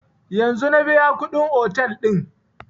Yanzun na biya kuɗin otel ɗin